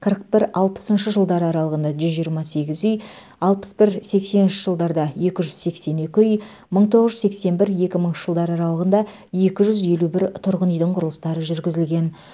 қырық бір алпысыншы жылдар аралығында жүз жиырма сегіз үй алпыс бір сексенінші жылдарда екі жүз сексен екі үй мың тоғыз жүз сексен бір екі мыңыншы жылдары аралығында екі жүз елу бір тұрғын үйдің құрылыстары жүргізілген